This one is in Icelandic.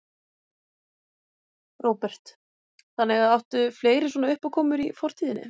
Róbert: Þannig að, áttu fleiri svona uppákomur í fortíðinni?